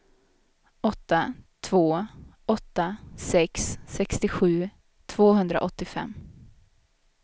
åtta två åtta sex sextiosju tvåhundraåttiofem